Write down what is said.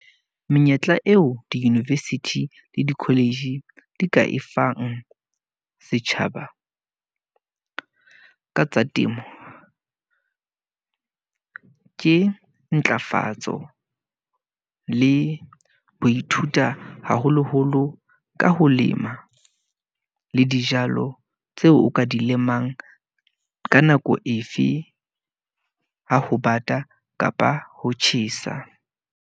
Menyetla eo di-university le di-college di ka e fang setjhaba ka tsa temo, ke ntlafatso le ho ithuta haholo-holo ka ho lema. Le dijalo tseo o ka di lemang ka nako efe. Ha ho bata kapa ho tjhesa.